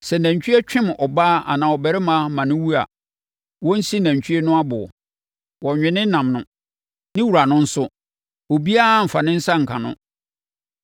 “Sɛ nantwie pem ɔbaa anaa ɔbarima ma no wu a, wɔnsi nantwie no aboɔ. Wɔnnwe ne nam no. Ne wura no nso, obiara mmfa ne nsa nka no,